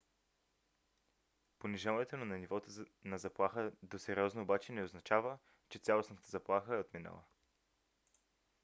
понижаването на нивото на заплаха до сериозно обаче не означава че цялостната заплаха е отминала.